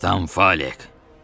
Kapitan Falik!